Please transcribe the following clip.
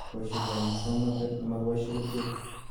Boishet ab musongnotet nemokiboishe kerichek